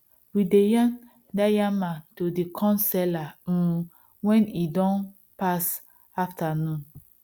we dey yarn da yamma to the corn seller um when e don pass afternoon